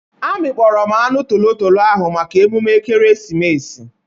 Amịkpọrọ m anụ tolotolo ahụ maka emume ekeresimesi.